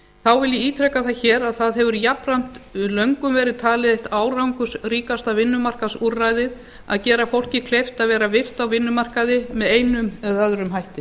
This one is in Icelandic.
þá vil ég ítreka það hér að það hefur jafnframt löngum verið talið árangursríkasta vinnumarkaðsúrræðið að gera fólki kleift að vera virkt á vinnumarkaði með einum eða öðrum hætti